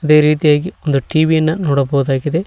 ಅದೇ ರೀತಿಯಾಗಿ ಒಂದು ಟಿ_ವಿ ನ ನೋಡಬಹುದಾಗಿದೆ.